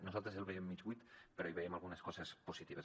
nosaltres el veiem mig buit però hi veiem algunes coses positives